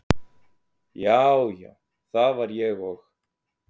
já, já það var ég og.